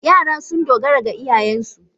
Yara sun dogara ga iyayensu